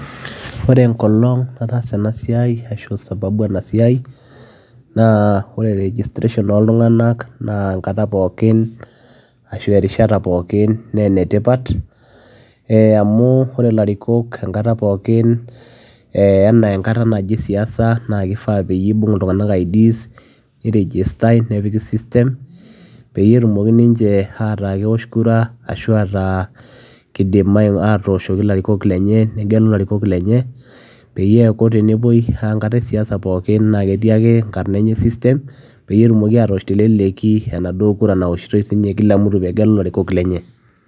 Oree sababu ena siai naa Ore registration oo ilntunganak naa naa ene tipat amuu oree ilarikok enkataa pookin enaa enkataa ee siasa naakifaa peyiee ibungu ilntunganak [I'd peyie ee registrater peyiee ewoshokii ilarikon lenye kura negeluu ilarikon peyiee oree enkata ee siasa naa ketii ingarr enye system peyiee ewosh kura teleleki